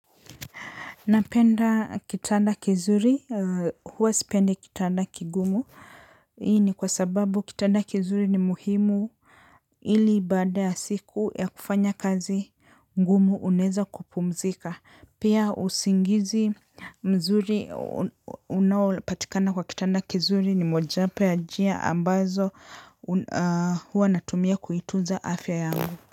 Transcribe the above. Napenda kitanda kizuri, huwa sipendi kitanda kigumu, hii ni kwa sababu kitanda kizuri ni muhimu ili ibada ya siku ya kufanya kazi ngumu unaeza kupumzika. Pia usingizi mzuri unaopatikana kwa kitanda kizuri ni mojawapo ya njia ambazo huwa natumia kuituza afya yangu.